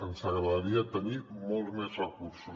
ens agradaria tenir molts més recursos